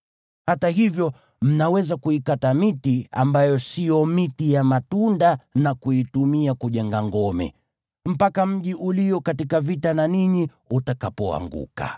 Hata hivyo, mnaweza kuikata miti ambayo sio miti ya matunda na kuitumia kujenga ngome, mpaka mji ulio katika vita na ninyi utakapoanguka.